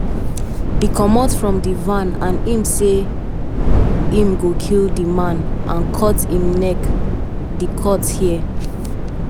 e comot from di van and say im go kill di man and cut im neck di court hear.